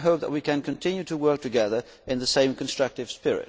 I hope that we can continue to work together in the same constructive spirit.